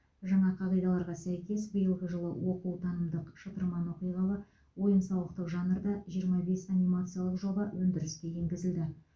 жаңа қағидаларға сәйкес биылғы жылы оқу танымдық шытырман оқиғалы ойын сауықтық жанрда жиырма бес анимациялық жоба өндіріске енгізілді